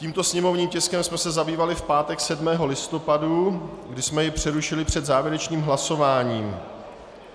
Tímto sněmovním tiskem jsme se zabývali v pátek 7. listopadu, kdy jsme jej přerušili před závěrečným hlasováním.